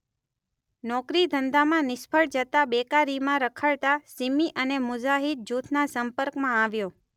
નોકરી ધંધામાં નિષ્ફળ જતાં બેકારીમાં રખડતાં સીમી અને મુજાહીદ જુથના સંપર્કમાં આવ્યો.